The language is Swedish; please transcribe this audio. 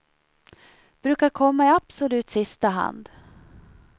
Brukar komma i absolut sista hand.